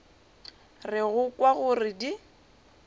re go kwa gore di